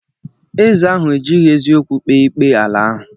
Eze ahụ ejighi eziokwu kpee ikpe ala ahụ.